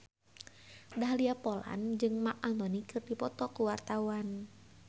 Dahlia Poland jeung Marc Anthony keur dipoto ku wartawan